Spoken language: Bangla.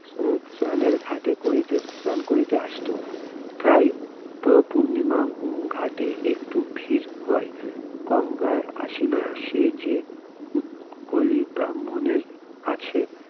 উম স্নানের ঘাটে করিতে স্নান করিতে আসিত প্রায়ই পূর্ণিমা ঘাটে একটু ভিড় হয়ে গঙ্গায় আসিলে সে যে উৎকলী ব্রাহ্মণের কাছে